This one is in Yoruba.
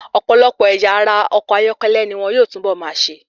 Ọ̀pọ̀lọpọ̀ ẹ̀yà ara ọkọ̀ ayọ́kẹ́lẹ́ ni wón yóò túnbọ̀ máa ṣe.